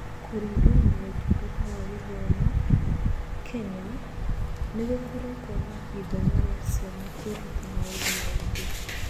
Kũringana na Ũtungata wa Gĩthomo, Kenya, nĩ gũkoretwo na ithenya rĩa ciana kwĩruta maũndũ maingĩ.